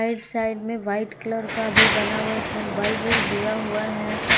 इस साइड में white colour का भी बना हुआ है इसमें बल्ब दिया हुआ है।